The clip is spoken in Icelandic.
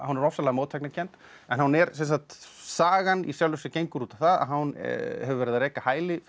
er ofsalega mótsagnakennd sagan í sjálfu sér gengur út á það að hán hefur verið að reka hæli fyrir